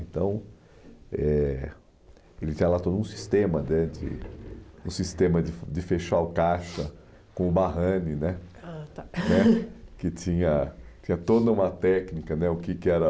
Então eh ele tinha lá todo um sistema né de um sistema de de fechar o caixa com o barrane né ah ta né que tinha tinha toda uma técnica né o que era...